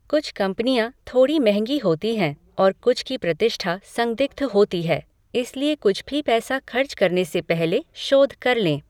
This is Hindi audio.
कुछ कंपनियां थोड़ी महँगी होती हैं और कुछ की प्रतिष्ठा संदिग्ध होती है, इसलिए कुछ भी पैसा खर्च करने से पहले शोध कर लें।